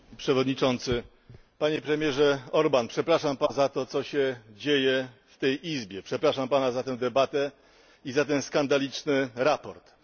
Panie Przewodniczący! Panie Premierze Orbán! Przepraszam Pana za to, co się dzieje w tej izbie, przepraszam Pana za tę debatę i za to skandaliczne sprawozdanie.